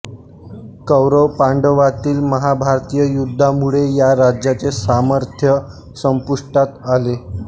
कौरवपांडवातील महाभारतीय युद्धामुळे या राज्याचे सामर्थ्य संपुष्टात आले